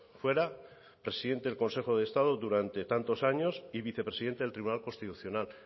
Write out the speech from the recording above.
fuera presidente del consejo de estado durante tantos años y vicepresidente del tribunal constitucional